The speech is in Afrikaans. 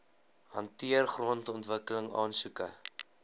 hanteer grondontwikkeling aansoeke